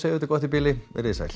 þetta gott í bili veriði sæl